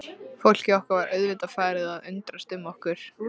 Fólkið okkar var auðvitað farið að undrast um okkur.